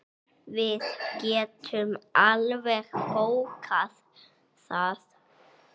Við getum alveg bókað það.